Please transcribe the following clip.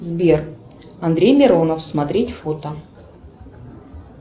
сбер андрей миронов смотреть фото